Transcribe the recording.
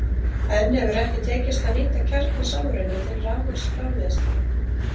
enn hefur ekki tekist að nýta kjarnasamruna til rafmagnsframleiðslu